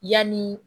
Yanni